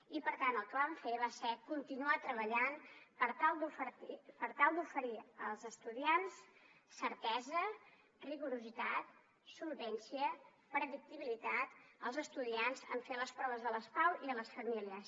i per tant el que vam fer va ser continuar treballant per tal d’oferir certesa rigorositat solvència i predictibilitat als estudiants en fer les proves de les pau i a les famílies